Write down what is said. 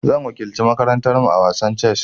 Zan wakilci makarantar mu a wasan chess.